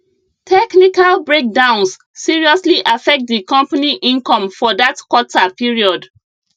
technical breakdowns seriously affect di company income for that quarter period